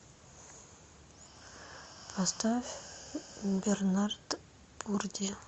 поставь бернард пурди